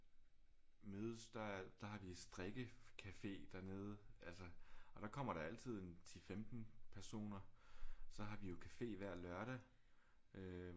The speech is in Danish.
Mødes der der har vi strikkecafé dernede altså og der kommer der altid en 10-15 personer så har vi jo café hver lørdag øh